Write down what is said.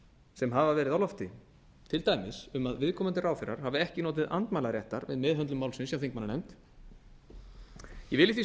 sem hafa verið á lofti til dæmis um að viðkomandi ráðherrar hafi ekki notið andmælaréttar við meðhöndlun málsins hjá þingmannanefnd ég vil í því